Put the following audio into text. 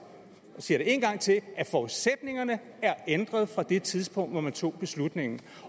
jeg siger det en gang til at forudsætningerne er ændret fra det tidspunkt hvor man tog beslutningen